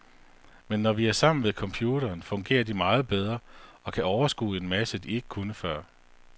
Men når vi er sammen ved computeren, fungerer de meget bedre og kan overskue en masse, de ikke kunne før.